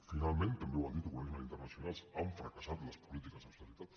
finalment també ho han dit organismes internacionals han fracassat les polítiques d’austeritat